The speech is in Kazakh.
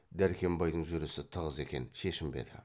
дәркембайдың жүрісі тығыз екен шешінбеді